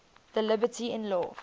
thy liberty in law